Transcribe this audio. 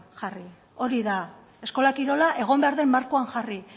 jarri hori da eskola kirola egon behar den markoan jarri